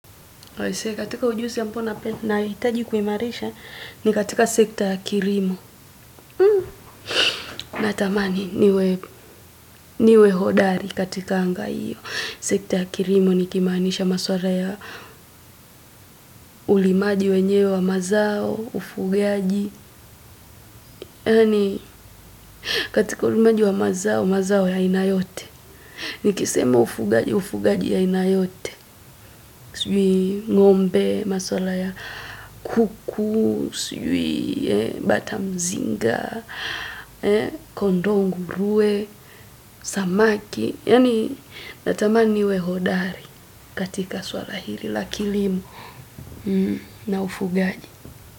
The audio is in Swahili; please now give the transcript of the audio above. Katika ujuzi ambao nahitaji kuimarisha ni katika sekta ya kilimo. Natamani niwe hodari katika anga hiyo. Sekta ya kilimo nikimanisha masuala ya ulimaji wenyewe wa mazao ufugaji katika ulimaji wa mazao, mazao ya aina yote. Nikisema ufugaji ufugaji ya aina yote. Sijui ngo'mbe, maswala ya kuku, sijui batamzinga, kondoo ngurue, samaki. Yani natamaniwe hodari katika swala hili, lakilimo na ufugaji.